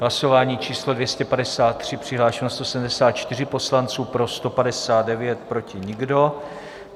Hlasování číslo 253, přihlášeno 174 poslanců, pro 159, proti nikdo.